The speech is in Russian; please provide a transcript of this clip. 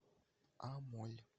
амоль